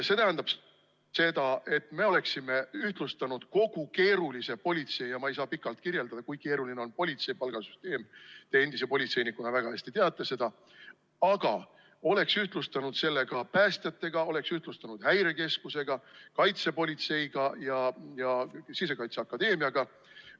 See tähendab seda, et me oleksime ühtlustanud kogu keerulise politsei – ma ei saa pikalt kirjeldada, kui keeruline on see politsei palgasüsteem, te endise politseinikuna teate seda väga hästi – päästjate omaga, oleks ühtlustanud selle Häirekeskuse, kaitsepolitsei ja Sisekaitseakadeemia palgasüsteemiga.